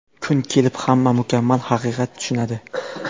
Kun kelib hamma mukammal haqiqat tushunadi.